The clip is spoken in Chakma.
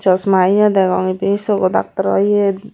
chosma yo degong ibey chogo daaktoraw yet.